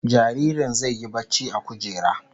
Jaririn zai yi barci a kujera